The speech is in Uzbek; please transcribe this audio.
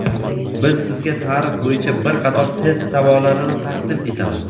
Biz sizga tarix bo‘yicha bir qator test savollarini taqdim etamiz.